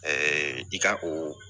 i ka o